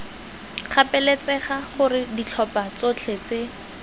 gapeletsega gore ditlhopha tsotlhe tse